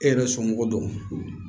E yɛrɛ somɔgɔw don